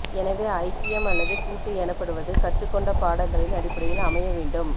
எனவே ஐக்கியம் அல்லது கூட்டு எனப்படுவது கற்றுக்கொண்ட பாடங்களின் அடிப்படையில் அமைய வேண்டும்